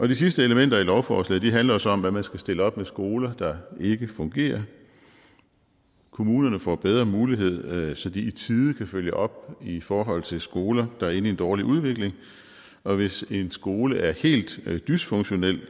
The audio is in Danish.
de sidste elementer i lovforslaget handler så om hvad man skal stille op med skoler der ikke fungerer kommunerne får bedre mulighed så de i tide kan følge op i forhold til skoler der er inde i en dårlig udvikling og hvis en skole er helt dysfunktionel